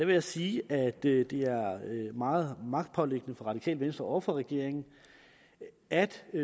vil sige at det er meget magtpåliggende for radikale venstre og for regeringen at